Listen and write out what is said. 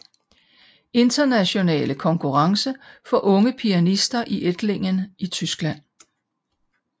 Internationale Konkurrence for Unge Pianister i Ettlingen i Tyskland